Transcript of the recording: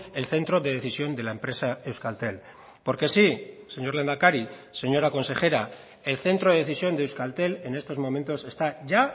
el centro de decisión de la empresa euskaltel porque sí señor lehendakari señora consejera el centro de decisión de euskaltel en estos momentos está ya